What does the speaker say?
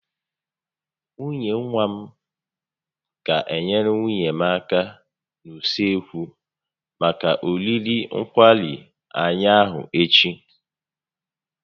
Nwunye nwa m ga enyere nwunye m aka n'usekwu maka oriri nkwari anyị ahụ echi